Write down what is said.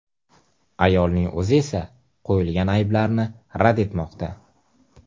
Ayolning o‘zi esa qo‘yilgan ayblarni rad etmoqda.